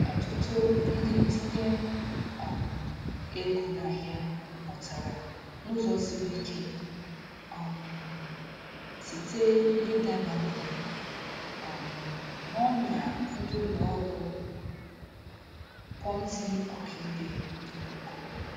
Ọtụtụ ndị ntinye um ego n'ahịa mụtara n'ụzọ siri ike um site n'ịdabanye um n'ọnya ndị ụlọ ọrụ Ponzi ọkaibe n'ikuku.